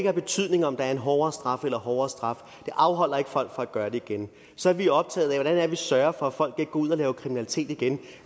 har betydning om der er en hård straf eller en hårdere straf det afholder ikke folk fra at gøre det igen så vi er optaget af hvordan vi sørger for at folk ikke går ud og laver kriminalitet igen